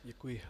Děkuji.